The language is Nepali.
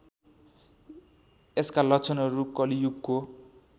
यसका लक्षणहरू कलियुगको